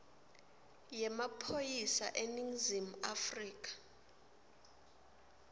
yemaphoyisa eningizimu afrika